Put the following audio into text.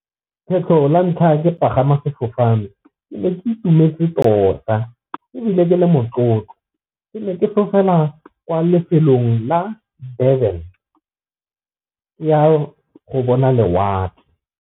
Kgetlho la ntlha ke pagama sefofane ke ne ke itumetse tota, ebile ke le motlotlo ke ne ke fofela kwa lefelong la Durban ke ya go bona lewatle.